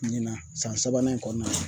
Ɲina san sabanan in kɔnɔna na